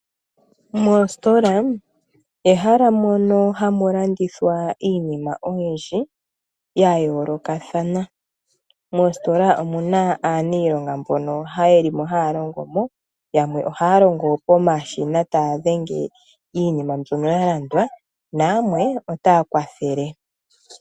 Moositola ehala mono hamu landithwa iinima oyindji ya yoolokathana. Moositola omu na aaniilonga mbono ye li mo haya longo mo. Yamwe ohaya longo pomashina taya dhenge iinima mbyono ya landwa nayamwe otaya kwathele.